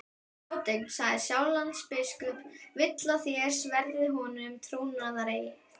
Hans hátign, sagði Sjálandsbiskup,-vill að þér sverjið honum trúnaðareið.